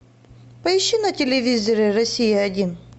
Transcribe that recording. поищи на телевизоре россия один